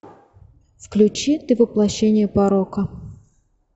включи ты воплощение порока